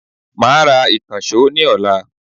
I will buy a new hammer tomorrow